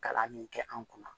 Kalan min kɛ an kunna